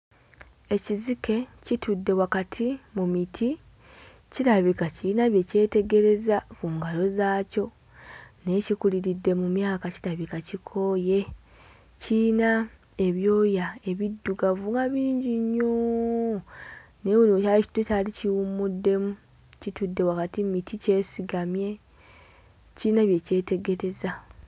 Ekizike kitudde wakati mu miti kirabika kiyina bye kyetegereza ku ngalo zaakyo naye kikuliridde mu myaka kirabika kikooye kiyina ebyoya ebiddugavu nga bingi nnyo naye wuno kyali tu kyali kiwummuddemu kitudde wakati mmiti kyesigamye kiyina bye kyetegereza.